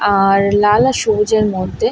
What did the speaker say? আ-হ-র লাল আর সবুজের মধ্যে--